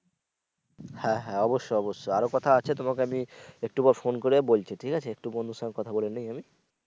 হ্যা হ্যা অবশ্যই অবশ্যই আরো কথা আছে তোমাকে আমি একটু পর ফোন করে বলছি ঠিক আছে একটু বন্ধুর সঙ্গে কথা নেই আমি।